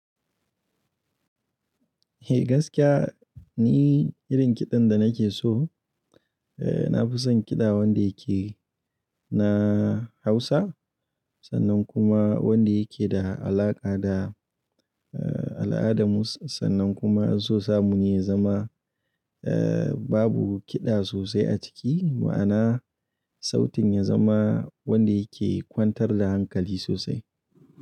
Eh gaskiya ni irin kiɗan da nake so, eh na fi son kiɗa wanda yake na Hausa sannan kuma wanda yake da alaƙa da al'ada mu sannan kuma so samu ne ya zama eh babu kiɗa sosai a ciki ma'ana sautin ya zama wanda yake kwantar da hankali sosai.